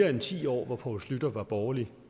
end ti år hvor poul schlüter var borgerlig